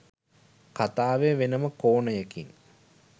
කතාවේ වෙනම කෝණයකින්